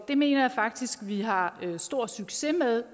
det mener jeg faktisk vi har stor succes med